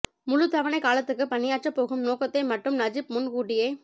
முழுத் தவணைக் காலத்துக்கு பணியாற்றப் போகும் நோக்கத்தை மட்டும் நஜிப் முன் கூட்டியே